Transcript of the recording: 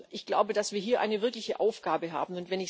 Ich glaube, dass wir hier eine wirkliche Aufgabe haben.